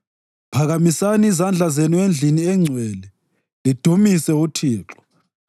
Phakamisani izandla zenu endlini engcwele lidumise uThixo.